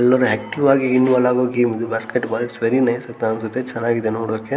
ಎಲ್ಲಾನು ಆಕ್ಟಿವ್ ಆಗಿ ಇಂವೊಲ್ವ್ ಆಗೋ ಗೇಮ್ ಇದು basketball it's very nice ಅಂತ ಅನ್ಸುತ್ತೆ ಚೆನ್ನಾಗಿದೆ ನೋಡೋದಿಕ್ಕೆ .